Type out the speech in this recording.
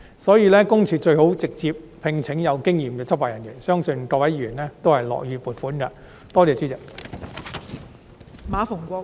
所以，私隱公署最好直接聘請有經驗的執法人員，相信各位議員都會樂意批出撥款。